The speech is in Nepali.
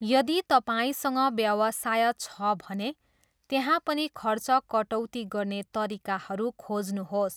यदि तपाईँसँग व्यवसाय छ भने, त्यहाँ पनि खर्च कटौती गर्ने तरिकाहरू खोज्नुहोस्।